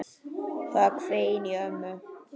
Það hvein í ömmu.